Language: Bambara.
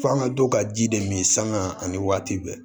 F'an ga dɔ ka ji de min sanga ani waati bɛɛ